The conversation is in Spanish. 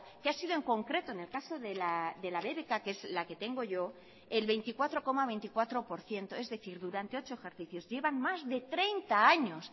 que ha sido en concreto en el caso de la bbk que es la que tengo yo el veinticuatro coma veinticuatro por ciento es decir durante ocho ejercicios llevan más de treinta años